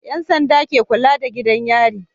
Yan sanda ke kulada da gidan yari